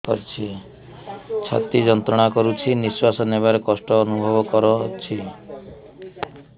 ଛାତି ଯନ୍ତ୍ରଣା କରୁଛି ନିଶ୍ୱାସ ନେବାରେ କଷ୍ଟ ଅନୁଭବ କରୁଛି